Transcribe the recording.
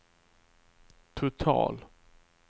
total